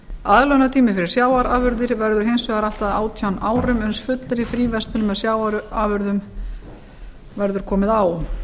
aðlögunartími fyrir sjávarafurðir verður hins vegar allt að átján árum uns fullri fríverslun með sjávarafurðir verður komið á